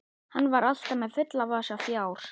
Hann var alltaf með fulla vasa fjár.